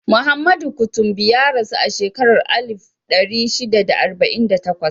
Muhammadu Kutumbi ya rasu a shekarar alif ɗari shida da arba'in da takwas.